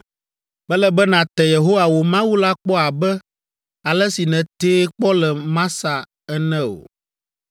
Mele be nàte Yehowa wò Mawu la kpɔ abe ale si nètee kpɔ le Masa ene o.